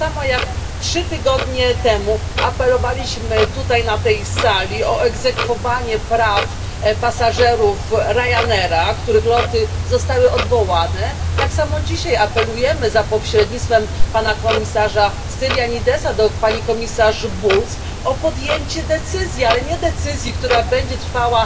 Tak samo jak trzy tygodnie temu apelowaliśmy tutaj na tej sali o egzekwowanie praw pasażerów Ryanaira, których loty zostały odwołane, tak samo dzisiaj apelujemy za pośrednictwem pana komisarza Stylianidesa do pani komisarz Bulc o podjęcie decyzji, ale nie decyzji, której podejmowanie będzie trwało